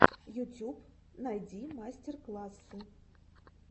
ютюб найди мастер классы